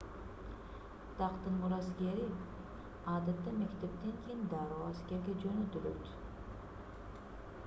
тактын мураскери адатта мектептен кийин дароо аскерге жөнөтүлөт